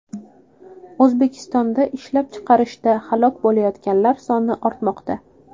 O‘zbekistonda ishlab chiqarishda halok bo‘layotganlar soni ortmoqda.